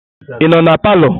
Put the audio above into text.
Ị nọ na palọ?